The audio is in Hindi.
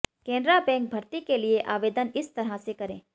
कैनरा बैंक भर्ती के लिए आवेदन इस तरह से करें